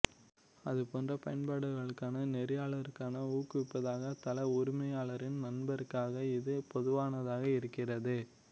அது போன்ற பயன்பாடுகளுக்காக நெறியாளருக்கான ஊக்குவிப்பாக தள உரிமையாளரின் நண்பருக்காக இது பொதுவானதாக இருக்கிறது